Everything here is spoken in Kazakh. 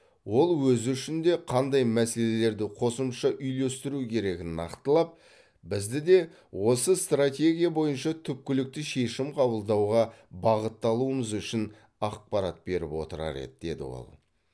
ол өзі үшін де қандай мәселелерді қосымша үйлестіру керегін нақтылап бізді де осы стратегия бойынша түпкілікті шешім қабылдауға бағытталуымыз үшін ақпарат беріп отырар еді деді ол